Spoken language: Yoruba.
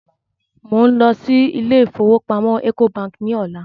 Mò ń lọ sí ilé ìfowópamọ́ Ecobank ní ọ̀la